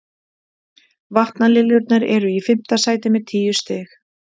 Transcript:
Vatnaliljurnar eru í fimmta sæti með tíu stig.